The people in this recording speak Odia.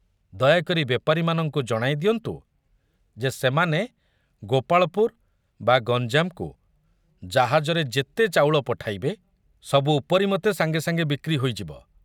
ଦୟାକରି ବେପାରୀମାନଙ୍କୁ ଜଣାଇ ଦିଅନ୍ତୁ ଯେ ସେମାନେ ଗୋପାଳପୁର ବା ଗଞ୍ଜାମକୁ ଜାହାଜରେ ଯେତେ ଚାଉଳ ପଠାଇବେ, ସବୁ ଉପରି ମତେ ସାଙ୍ଗେ ସାଙ୍ଗେ ବିକ୍ରି ହୋଇଯିବ।